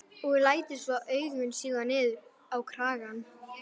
Og lætur svo augun síga niður á kragann.